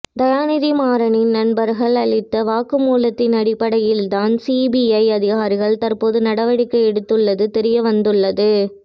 தயாநிதி மாறனின் நண்பர்கள் அளித்த வாக்குமூலத்தின் அடிப்படையில்தான் சிபிஐ அதிகாரிகள் தற்போது நடவடிக்கை எடுத்துள்ளது தெரிய வந்துள்ளது